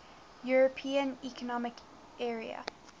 european economic area